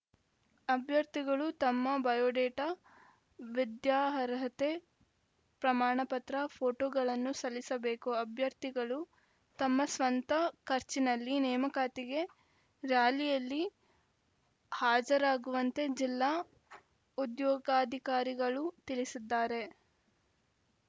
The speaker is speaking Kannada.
ಅಭ್ಯರ್ಥಿಗಳು ತಮ್ಮ ಬಯೋಡಾಟಾ ವಿದ್ಯಾರ್ಹತೆಯ ಪ್ರಮಾಣಪತ್ರ ಫೋಟೋಗಳನ್ನು ಸಲ್ಲಿಸಬೇಕು ಅಭ್ಯರ್ಥಿಗಳು ತಮ್ಮ ಸ್ವಂತ ಖರ್ಚಿನಲ್ಲಿ ನೇಮಕಾತಿಗೆ ರ‍್ಯಾಲಿಯಲ್ಲಿ ಹಾಜರಾಗುವಂತೆ ಜಿಲ್ಲಾ ಉದ್ಯೋಗಾಧಿಕಾರಿಗಳು ತಿಳಿಸಿದ್ದಾರೆ